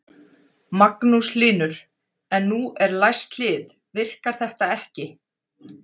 Magnús Hlynur: En nú eru læst hlið, virkar þetta ekki?